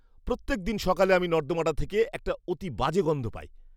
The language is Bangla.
প্রত্যেক দিন সকালে আমি নর্দমাটা থেকে একটা অতি বাজে গন্ধ পাই।